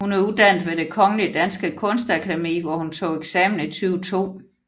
Hun er uddannet ved det Det Kongelige Danske Kunstakademi hvor hun tog eksamen i 2002